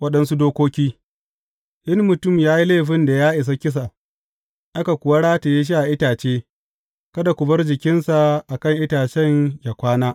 Waɗansu dokoki In mutum ya yi laifin da ya isa kisa, aka kuwa rataye shi a itace, kada ku bar jikinsa a kan itacen yă kwana.